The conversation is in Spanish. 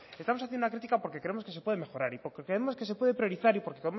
estamos haciendo la crítica porque creemos que se puede mejorar y porque creemos que se puede prioridad y porque